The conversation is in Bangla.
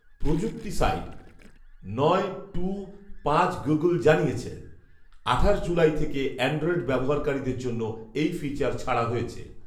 প্রযুক্তি সাইট নয় টু পাঁচ গুগল জানিয়েছে, আঠাশ জুলাই থেকে অ্যান্ড্রয়েড ব্যবহারকারীদের জন্য এই ফিচার ছাড়া হয়েছে